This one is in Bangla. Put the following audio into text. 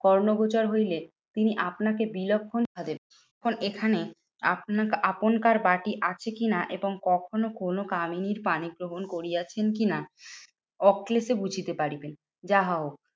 কর্ণগোচর হইলে, তিনি আপনাকে বিলক্ষণ ভাবে এখানে আপনা আপনকার বাটি আছে কি না এবং কখনো কোনো কামিনীর পানি গ্রহণ করিয়াছেন কি না? অক্লেশে বুঝিতে পারিবেন। যা হউক